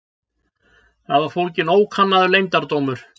Þar var fólginn ókannaður leyndardómur.